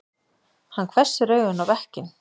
Hann hvessir augun á bekkinn.